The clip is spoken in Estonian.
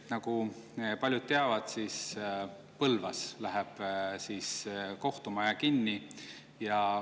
Nagu paljud teavad, läheb Põlvas kohtumaja kinni.